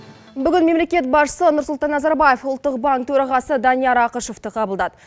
бүгін мемлекет басшысы нұрсұлтан назарбаев ұлттық банк төрағасы данияр ақышевті қабылдады